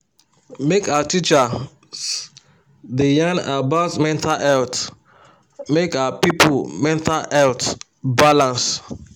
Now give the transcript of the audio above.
make our teachers da yan about mental health make our people mental health balance